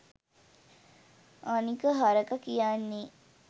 අනික හරක කියන්නේ